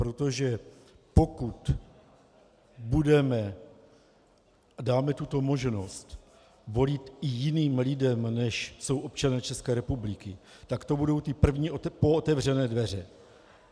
Protože pokud budeme a dáme tuto možnost volit i jiným lidem, než jsou občané České republiky, tak to budou ty první pootevřené dveře.